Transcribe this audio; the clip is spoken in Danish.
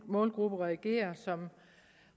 målgruppe reagerer som